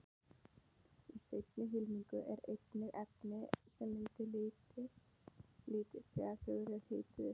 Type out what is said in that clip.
Í seinna hylkinu eru einnig efni sem mynda liti þegar þau eru hituð upp.